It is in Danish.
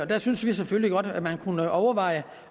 der synes vi selvfølgelig godt at man kunne overveje